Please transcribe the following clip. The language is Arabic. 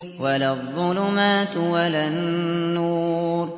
وَلَا الظُّلُمَاتُ وَلَا النُّورُ